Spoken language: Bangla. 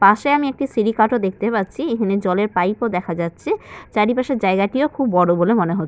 পাশে আমি এখানে একটি সিঁড়ি কাঠও দেখতে পাচ্ছি। এখানে জলের পাইপ -ও দেখা যাচ্ছে। চারপাশের জায়গাটিও খুব বড় বলে মনে হচ্ছে।